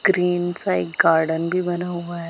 Green side garden भी बना हुआ है।